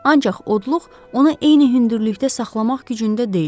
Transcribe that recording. Ancaq odluq onu eyni hündürlükdə saxlamaq gücündə deyildi.